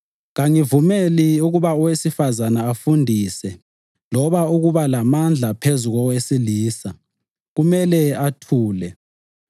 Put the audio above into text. Kangivumeli ukuba owesifazane afundise loba ukuba lamandla phezu kowesilisa; kumele athule.